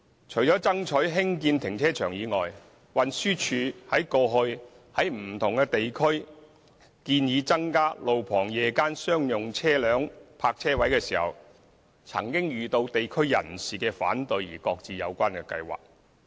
除了爭取興建停車場外，運輸署過去亦曾在不同地區建議增加路旁夜間商用車輛泊車位，唯因遇到地區人士反對而擱置有關計劃。